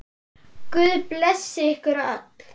Guð blessi ykkur öll.